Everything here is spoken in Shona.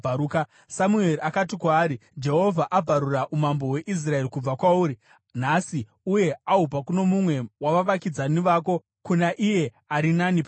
Samueri akati kwaari, “Jehovha abvarura umambo hweIsraeri kubva kwauri nhasi uye ahupa kuno mumwe wavavakidzani vako, kuna iye ari nani panewe.